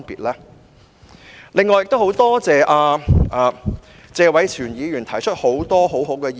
我很感謝謝偉銓議員提出了很多很好的意見。